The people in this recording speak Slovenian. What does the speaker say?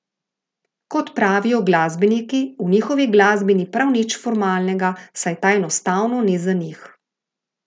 Kot pravijo glasbeniki, v njihovi glasbi ni prav nič formalnega, saj ta enostavno ni za njih.